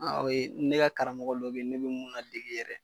o ye ne ka karamɔgɔ dɔ be ne be mun nadege yɛrɛ.